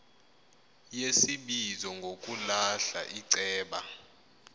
yesibizo ngokulahla iceba